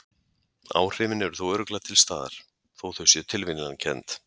Áhrifin eru þó örugglega til staðar, þó þau séu tilviljanakennd.